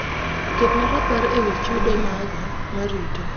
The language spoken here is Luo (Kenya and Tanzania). ketna rapar ewi chudo mag na marito